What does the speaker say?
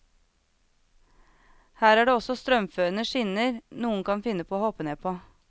Her er det også strømførende skinner noen kan finne på å hoppe ned på.